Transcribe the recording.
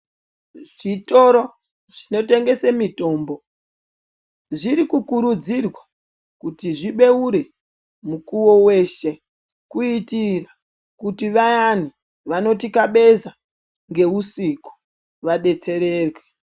Zvitoro zvinotengesa mitombo zviri kukurudzirwa kuti zvibeure mukuwo weshe kuitira kuti vayani vanotikabezwa ngeusiku vadetsererwe.